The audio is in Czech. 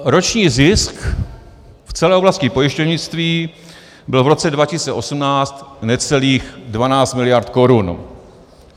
Roční zisk v celé oblasti pojišťovnictví byl v roce 2018 necelých 12 miliard korun.